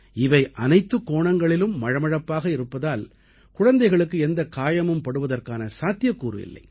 இவை அனைத்துக் கோணங்களிலும் மழமழப்பாக இருப்பதால் குழந்தைகளுக்கு எந்தக் காயமும் படுவதற்கான சாத்தியக்கூறு இல்லை